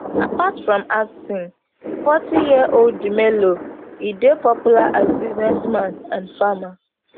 apart from acting fortyyearold dumelo e dey popular as businessman and farmer